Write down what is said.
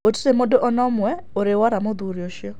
Gũtirĩ mũndũ ona ũmwe ũrĩ wora mũthuri ũcio.